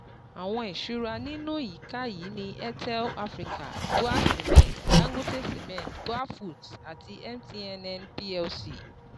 Àwọn ìṣúra nínú ìyíká yìí ní AIRTEL AFRICA, BUA CEMENT, DANGOTE CEMENT, BUAFOODS àti MTNN Plc.